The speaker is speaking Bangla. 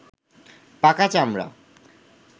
পাকা চামড়া